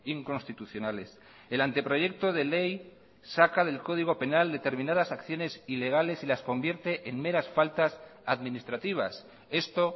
inconstitucionales el anteproyecto de ley saca del código penal determinadas acciones ilegales y las convierte en meras faltas administrativas esto